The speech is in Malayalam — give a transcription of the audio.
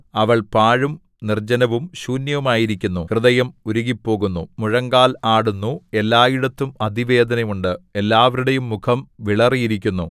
അവൾ പാഴും നിർജ്ജനവും ശൂന്യവുമായിരിക്കുന്നു ഹൃദയം ഉരുകിപ്പോകുന്നു മുഴങ്കാൽ ആടുന്നു എല്ലായിടത്തും അതിവേദന ഉണ്ട് എല്ലാവരുടെയും മുഖം വിളറിയിരിക്കുന്നു